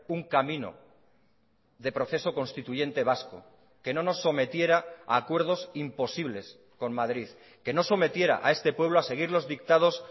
un camino de proceso constituyente vasco que no nos sometiera a acuerdos imposibles con madrid que no sometiera a este pueblo a seguir los dictados